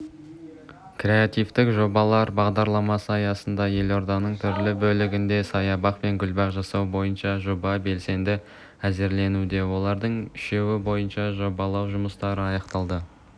креативті жобалар бағдарламасы аясында елорданың түрлі бөлігінде саябақ пен гүлбақ жасау бойынша жоба белсенді әзірленуде олардың үшеуі бойынша жобалау жұмыстары аяқталды